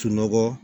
Sunɔgɔ